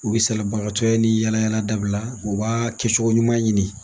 U bɛ salibagatɔ ya ni yaala yaala dabila o b' kɛ cogo ɲuman ɲini.